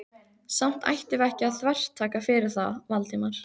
Samt ættum við ekki að þvertaka fyrir það, Valdimar.